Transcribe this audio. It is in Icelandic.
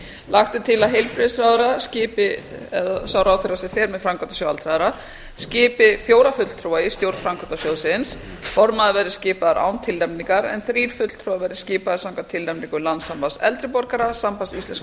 lagt er til að heilbrigðisráðherra eða sá ráðherra sem fer með framkvæmdasjóð aldraðra skipi fjóra fulltrúa í stjórn framkvæmdasjóðsins formaður verði skipaður án tilnefningar en þrír fulltrúar verði skipaðir samkvæmt tilnefningu landssambands eldri borgara sambands íslenskra